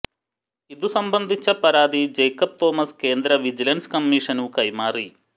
ഇതു സംബന്ധിച്ച പരാതി ജേക്കബ് തോമസ് കേന്ദ്ര വിജിലന്സ് കമ്മീഷനു കൈമാറി